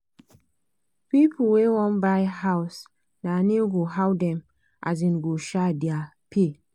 pipu wey wan buy house da nego how dem um go um da pay